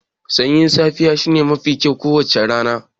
Sanyin safiya shine lokaci mafi kyau a kowacce rana.